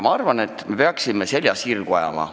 Ma arvan, et me peaksime selja sirgu ajama.